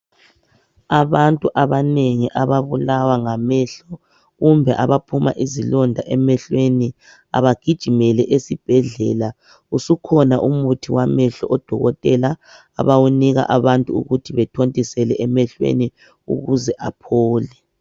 Abantu abanengi ababulawa ngamehlo kumbe baphuma izilonda emehlweni abagijimele esibhedlela usukhona umuthi wamehlo odokotela abawunika abantu ukuthi bethontisele abantu ukuze aphole